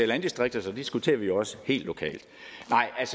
landdistrikter så diskuterer vi jo også helt lokalt